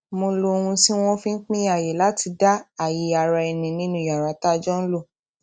mo lo ohun tí wọn fi n pín ààyè láti dá ààyè araẹni nínú yàrá tá a jọ ń lò